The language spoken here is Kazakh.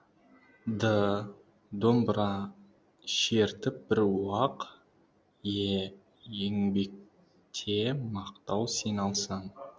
д домбыра шертіп бір уақ е еңбекте мақтау сен алсаң